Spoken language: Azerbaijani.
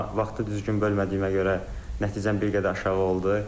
Amma vaxtı düzgün bölmədiyimə görə nəticəm bir qədər aşağı oldu.